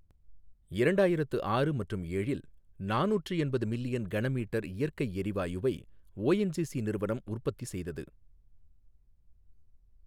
இரண்டாயிரத்து ஆறு மற்றும் ஏழில் நானூற்று எண்பது மில்லியன் கனமீட்டர் இயற்கை எரிவாயுவை ஓஎன்ஜிசி நிறுவனம் உற்பத்தி செய்தது.